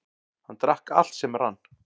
Hann drakk allt sem rann.